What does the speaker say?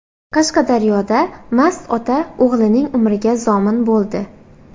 Qashqadaryoda mast ota o‘g‘lining umriga zomin bo‘ldi.